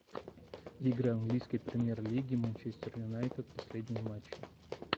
игры английской премьер лиги манчестер юнайтед последние матчи